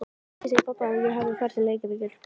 Ekki segja pabba að ég hafi farið til Reykjavíkur.